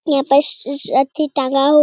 यहाँ पे उस अअ अथी टांगा हु --